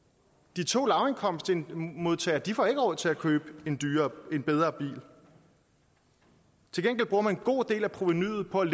de to lavindkomstmodtagere får ikke råd til at købe en bedre bil til gengæld bruger man en god del af provenuet på at